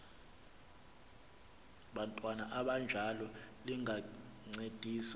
bantwana abanjalo lingancedisa